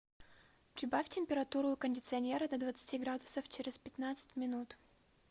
прибавь температуру у кондиционера до двадцати градусов через пятнадцать минут